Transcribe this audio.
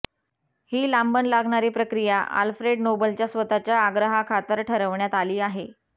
ही लांबण लागणारी प्रक्रिया आल्फ्रेड नोबलच्या स्वतःच्या आग्रहाखातर ठरवण्यात आली आहे